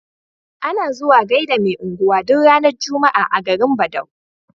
Ana zuwa gaida me unguwa duk ranar juma'a a garin badau